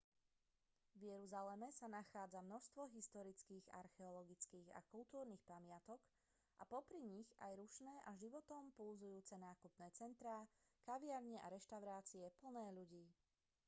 v jeruzaleme sa nachádza množstvo historických archeologických a kultúrnych pamiatok a popri nich aj rušné a životom pulzujúce nákupné centrá kaviarne a reštaurácie plné ľudí